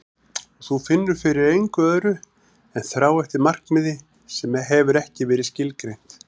Og þú finnur fyrir engu öðru en þrá eftir markmiði sem hefur ekki verið skilgreint.